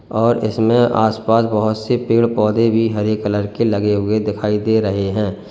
और इसमें आसपास बहोत से पेड़ पौधे भी हरे कलर के लगे हुए दिखाई दे रहे हैं।